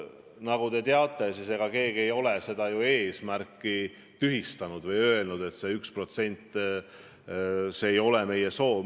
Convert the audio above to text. Nagu teate, ega keegi ei ole ju seda eesmärki tühistanud või öelnud, et see 1% ei ole meie soov.